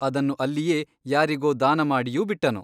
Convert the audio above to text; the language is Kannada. ಅದನ್ನು ಅಲ್ಲಿಯೇ ಯಾರಿಗೋ ದಾನ ಮಾಡಿಯೂ ಬಿಟ್ಟನು.